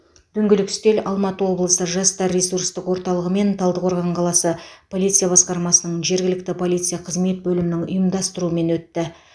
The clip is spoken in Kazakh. дөңгелек үстел алматы облысы жастар ресурстық орталығымен талдықорған қаласы полиция басқармасының жергілікті полиция қызмет бөлімінің ұйымдастыруымен өтті